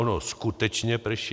Ono skutečně prší.